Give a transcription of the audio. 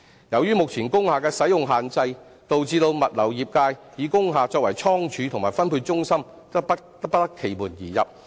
由於目前工廈的使用限制，導致物流業界以工廈作倉儲及分配中心則不得其門而入。